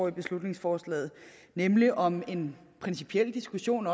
i beslutningsforslaget nemlig om en principiel diskussion